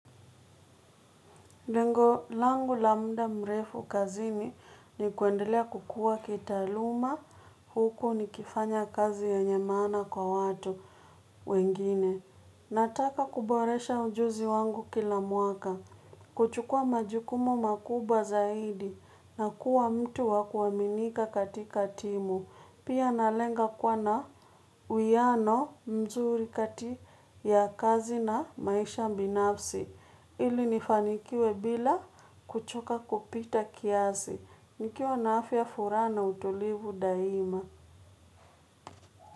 Lengo langu la muda mrefu kazini ni kuendelea kukua kitaaluma huku nikifanya kazi yenye maana kwa watu wengine. Nataka kuboresha ujuzi wangu kila mwaka. Kuchukua majukumu makubwa zaidi na kuwa mtu wa kuaminika katika timu. Pia nalenga kuwa na uiano mzuri kati ya kazi na maisha binafsi. Ili nifanikiwe bila kuchoka kupita kiasi. Nikiwa na afya furaha utulivu daima.